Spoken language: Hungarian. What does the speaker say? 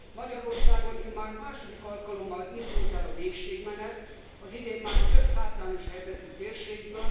Magyarországon immár második alkalommal indult el az éhségmenet az idén már több hátrányos helyzetű térségből.